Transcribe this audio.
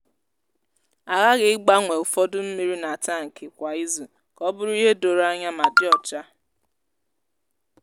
a ghaghị ịgbanwe ụfọdụ mmiri n’atankị kwa izu ka o bụrụ ihe doro anya ma dị ọcha.